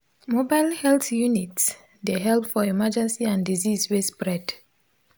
mobile health units dey help for emergency and disease wey spread